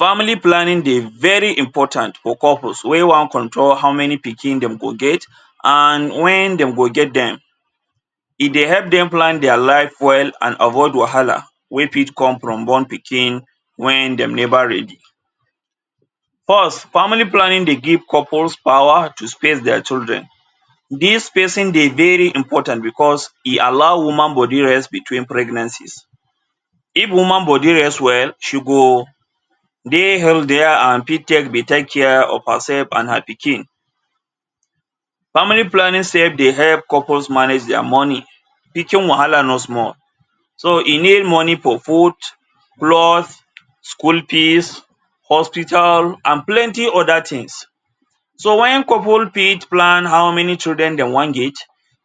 Family planning dey very important for couples wey wan control how many pikin dem go get and wen dem go get dem. E dey help dem plan their life well and avoid wahala wey fit come from one pikin wen dem never ready. First, family planning dey give couples power to space their children. Dis spacing dey very important because e allow woman body rest between pregnancies. If woman body rest well, she go dey healthier and fit take better care of herself and her pikin. Family planning sef dey help couples manage their money. Pikin wahala no small, so e need money for food, cloth, school fees, hospital and plenty other things. So wen couple fit plan how many children dem wan get,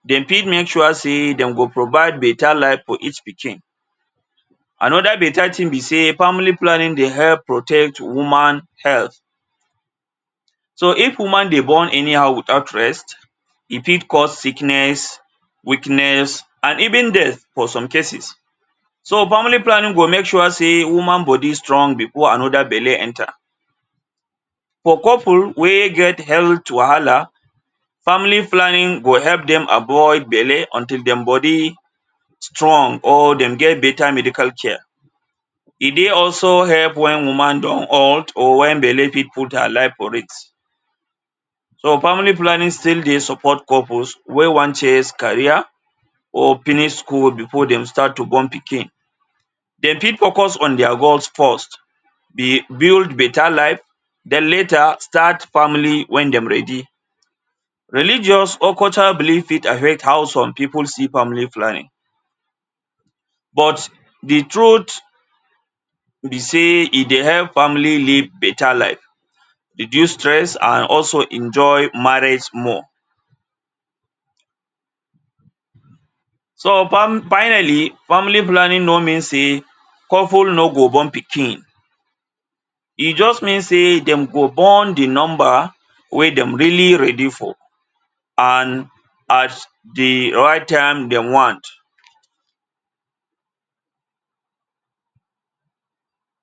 dem fit make sure sey dem go provide better life for each pikin. Another better thing be sey family planning dey help protect woman health. So if woman dey born anyhow without rest, e fit cause sickness, weakness and even death for some cases. So family planning go make sure sey woman body strong before another belle enter. For couple wey get health wahala, family planning go help dem avoid belle until dem body strong or dem get better medical care. E dey also help also wen woman don hurt or wen belle fit put her life for risk. So family planning still dey support couples wey wan chase career or finish school before dem start to born pikin. Dem fit focus on their goals first? build better life, den later start family wen dem ready. Religious or cultural belief fit affect how some pipu see family planning but de truth be sey e dey help family live better life, reduce stress and also enjoy marriage small. So finally, family planning no mean sey couple no go born pikin. E just mean sey dem go born de number wey dem really ready for and at de right time dem want.